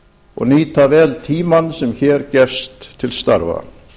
og nýta vel tímann sem hér gefst til starfa